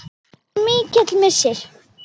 Þetta er mér mikill missir.